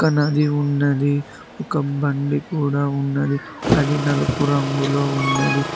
ఒక నది ఉన్నది ఒక బండి కూడ ఉన్నది అది నలుపు రంగులో ఉన్నది.